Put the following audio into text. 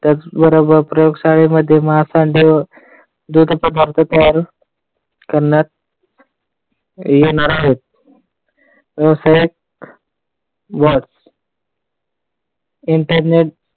त्याचबरोबर प्रयोगशाळेमध्ये महासंघ दुध पदार्थ तयार करण्यात येणार आहे. व्यवसाय वाढ internet